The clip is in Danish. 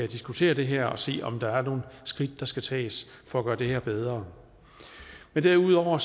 diskutere det her og se om der er nogle skridt der skal tages for at gøre det her bedre men derudover